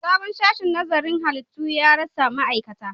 Sabon sashen nazarin halittu ya rasa ma'aikata